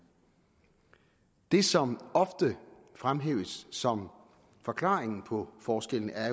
det som oftest fremhæves som forklaringen på forskellen er